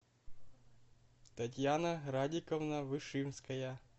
татьяна радиковна вышинская